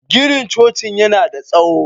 Ginin cocin yana da tsaho